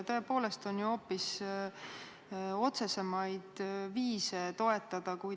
Tõepoolest on ju hoopis otsesemaid viise toetada.